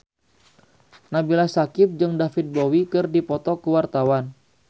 Nabila Syakieb jeung David Bowie keur dipoto ku wartawan